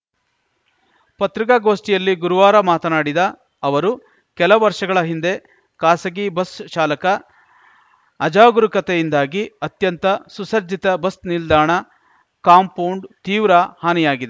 ಪತ್ರಿಕಾಗೋಷ್ಠಿಯಲ್ಲಿ ಗುರುವಾರ ಮಾತನಾಡಿದ ಅವರು ಕೆಲ ವರ್ಷಗಳ ಹಿಂದೆ ಖಾಸಗಿ ಬಸ್‌ ಚಾಲಕ ಅಜಾಗರೂತೆಯಿಂದಾಗಿ ಅತ್ಯಂತ ಸುಸಜ್ಜಿತ ಬಸ್‌ ನಿಲ್ದಾಣ ಕಾಂಪೌಂಡ್‌ ತೀವ್ರ ಹಾನಿಯಾಗಿದ್